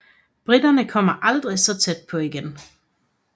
Briterne kom aldrig så tæt på igen